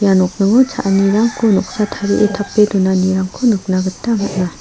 ia nokningo cha·anirangko noksa tarie tape donanirangko nikna gita man·a.